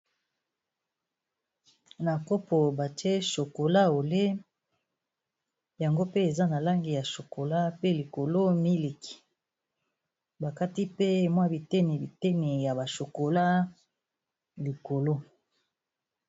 Na kopo batie chocolat au lait, yango pe eza na langi ya chocolat pe likolo miliki. Ba kati pe mwa bitene bitene ya ba chocolat likolo.